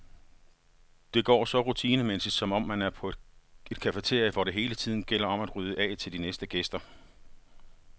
Det går så rutinemæssigt, som om man er på et cafeteria, hvor det hele tiden gælder om at rydde af til de næste gæster.